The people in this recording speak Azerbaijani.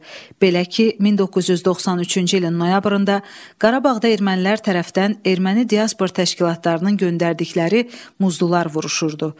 Belə ki, 1993-cü ilin noyabrında Qarabağda ermənilər tərəfdən erməni diaspor təşkilatlarının göndərdikləri muzlular vuruşurdu.